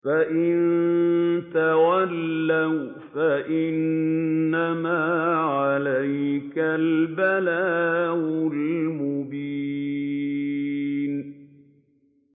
فَإِن تَوَلَّوْا فَإِنَّمَا عَلَيْكَ الْبَلَاغُ الْمُبِينُ